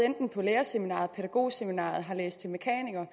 på lærerseminariet pædagogseminariet eller har læst til mekaniker